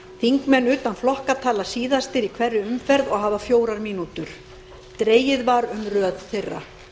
þingmenn utan flokka tala síðastir í hverri umferð og hafa fjórar mínútur dregið var um röð þeirra